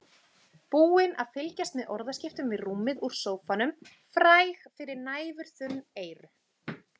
Búin að fylgjast með orðaskiptum við rúmið úr sófanum, fræg fyrir næfurþunn eyru.